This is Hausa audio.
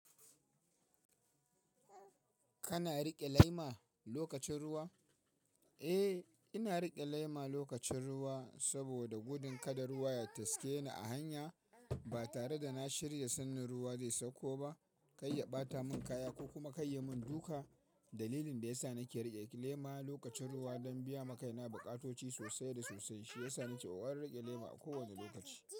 Kana riƙe lema lokacin ruwa? Eh, ina riƙe lema lokacin ruwa saboda gudun kada ruwa ya taske ni a hanya. Ba tare da na shirya sannan ruwa zai sauko ba, kai ya ɓata mun kaya ko kuma kai ya mun duka. Dalilin da ya sa nake riƙe lema lokacin ruwa don biya makaina bukatoci sosai da sosai, shi ya sa ni ke warware riƙe lema a kowane lokaci.